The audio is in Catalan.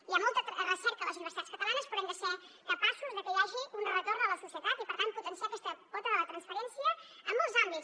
hi ha molta recerca a les universitats catalanes però hem de ser capaços de que hi hagi un retorn a la societat i per tant potenciar aquesta pota de la transferència en molts àmbits